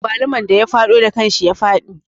Agwaluman da ya faɗo da kanshi ya fi daɗi